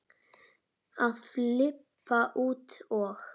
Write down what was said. að flippa út og